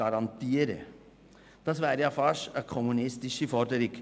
Das wäre ja beinahe eine kommunistische Forderung.